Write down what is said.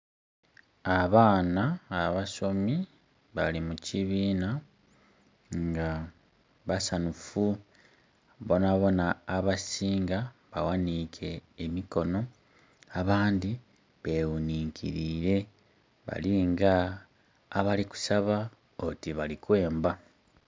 Abaana abasomi bali mi kibiinha nga basanufu bonabona, abasinga nga baghanike emikono, abandhi beghuninkirire, bali nga abali kusaaba oti bali kwemba.